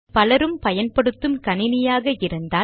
பலரும் பயன்படுத்தும் கணினியாக இருந்தால்